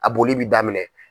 A boli bɛ daminɛ.